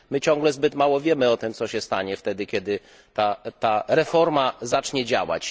My ciągle zbyt mało wiemy o tym, co się stanie wtedy, kiedy ta reforma zacznie działać.